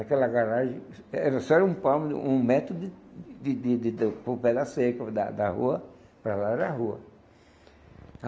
Aquela garagem era só era um palmo um metrô de de de de, de um pedaço seco da da rua, para lá era a rua.